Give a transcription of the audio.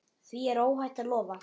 Því er óhætt að lofa.